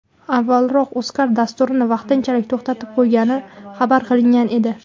Avvalroq UzCard dasturni vaqtinchalik to‘xtatib qo‘ygani xabar qilingan edi.